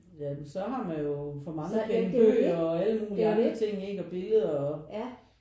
Ja men så har man jo for mange penge bøger og alle mulige andre ting og billeder